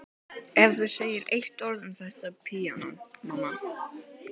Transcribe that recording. Ef þú segir eitt orð um þetta píanó, mamma.